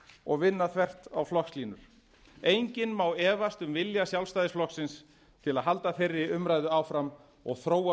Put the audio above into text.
og vinna þvert á flokkslínur enginn má efast um vilja sjálfstæðisflokksins til að halda þeirri umræðu áfram og þróa